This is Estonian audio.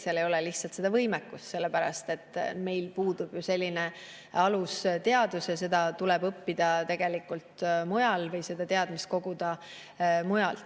Seal ei ole lihtsalt seda võimekust, sellepärast et meil puudub alusteadus ja seda tuleb õppida mujal ja neid teadmisi koguda mujal.